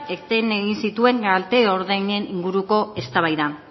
eten egin zituen kalte ordainen inguruko eztabaida